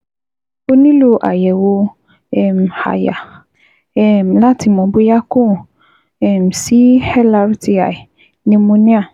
O nílò àyẹ̀wò um àyà um láti le mọ̀ bóyá kò um sí LRTI pneumonia